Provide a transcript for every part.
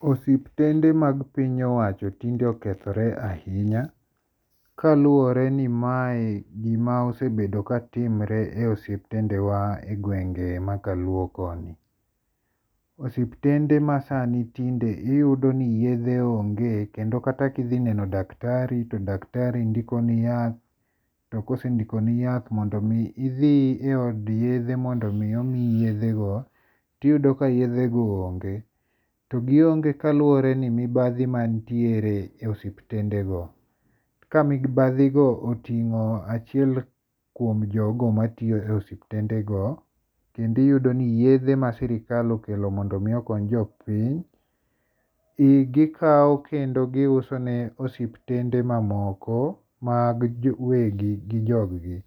Osiptende mag piny owacho tinde osekethore ahinya, kaluore ni mae en gima osebedo ka timore e osiptendewa e gwenge ma kaluo koni, osiptende masani tinde iyudo ni yethe onge kendo kata ka idhi neno daktari to daktari ndikoni yath, to kosendikoni yath mondo mi omiyi idhi e od yethego mondo mi omiyi yethego, tiyudo ka yethego onge to gionge kaluore ni mibathi emanitiere e osiptendego, ka mobathigo otingo achiel kuom jogo ma tiyo e osiptendego, kendo iyudoni yethe ma sirikal okelo mondo mi okony jo piny gikawo kendo giusone osiptende mamoko mag wegi gi jogi,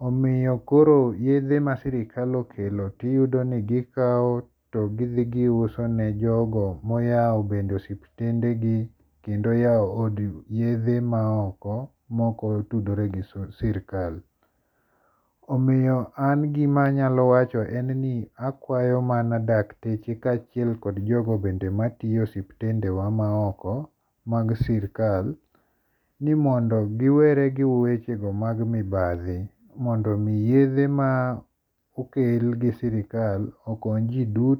omiyo koro yethe ma sirikal okelo tiyudoni gikawo to githi giusone jogo ma oyawo bende osiptendegi kendo oyawo od yethe maoko ma okotudoregi sirikal. Omiyo an gima anyalo wacho en ni akwayo mana dakteche kachiel kod jogo bende matiyo e osiptendewa maoko, mag sirika ni mondo giwere gi wechego mag mibathi mondo mi yethe ma okel gi sirikal okonyji duto.